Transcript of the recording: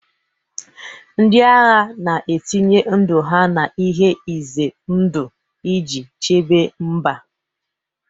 Ndị agha na-etinye ndụ ha n'ihe ize ndụ iji chebe mba.